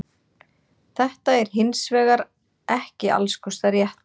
Þetta er hins vegar ekki alls kostar rétt.